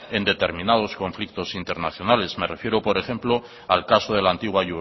en determinados conflictos internacionales me refiero por ejemplo al caso de la antigua